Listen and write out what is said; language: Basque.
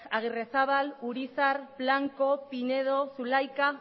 agirrezabala urizar blanco pinedo zulaika